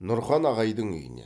нұрхан ағайдың үйінен